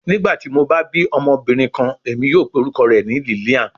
Nigbati mo ba bi ọmọbirin kan, Emi yoo pe orukọ rẹ ni Lilian